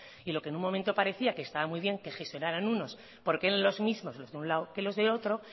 y lo que en un momento parecía que estaba muy bien que gestionaran unos porque en los mismos los de un lado que los de otro